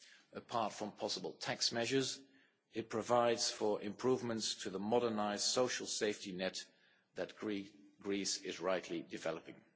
Apart from possible tax measures, it provides for improvements to the modernised social safety net that Greece is rightly developing.